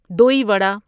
دوی وڑا দই বড়া